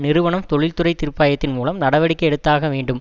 நிறுவனம் தொழிற்துறை தீருபாயத்தின் மூலம் நடவடிக்கை எடுத்தாக வேண்டும்